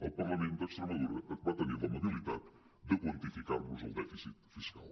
el parlament d’extremadura va tenir l’amabilitat de quantificar·nos el dèfi·cit fiscal